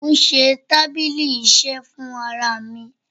Mò ń ṣe tábílì iṣẹ́ fún ara mi.